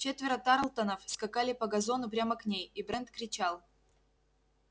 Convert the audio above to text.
четверо тарлтонов скакали по газону прямо к ней и брент кричал